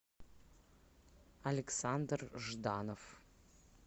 александр жданов